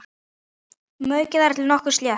Maukið þar til nokkuð slétt.